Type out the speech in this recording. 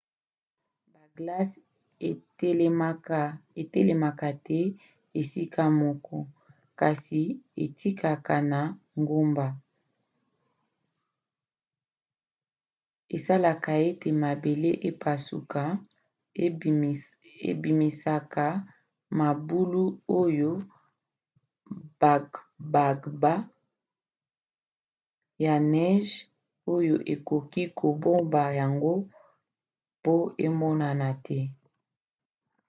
baglace etelemaka te esika moko kasi ekitaka na ngomba. esalaka ete mabele epasuka ebimisaka mabulu oyo bagbagba ya neige oyo ekoki kobomba yango mpo emonana te